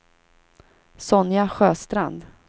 Sonja Sjöstrand